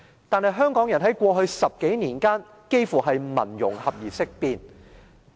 但是，香港人在過去10多年間，幾乎是聞"融合"而色變。